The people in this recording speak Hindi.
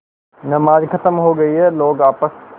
नमाज खत्म हो गई है लोग आपस